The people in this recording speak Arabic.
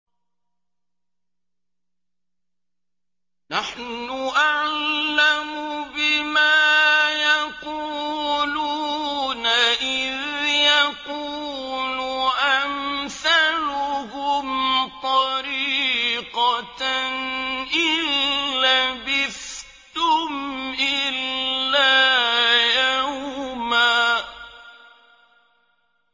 نَّحْنُ أَعْلَمُ بِمَا يَقُولُونَ إِذْ يَقُولُ أَمْثَلُهُمْ طَرِيقَةً إِن لَّبِثْتُمْ إِلَّا يَوْمًا